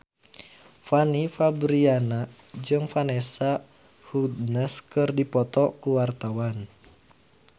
Fanny Fabriana jeung Vanessa Hudgens keur dipoto ku wartawan